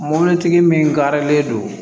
Mɔbilitigi min garilen don